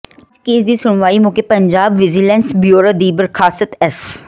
ਅੱਜ ਕੇਸ ਦੀ ਸੁਣਵਾਈ ਮੌਕੇ ਪੰਜਾਬ ਵਿਜੀਲੈਂਸ ਬਿਊਰੋ ਦੀ ਬਰਖ਼ਾਸਤ ਐੱਸ